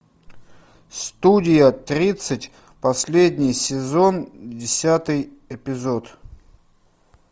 студия тридцать последний сезон десятый эпизод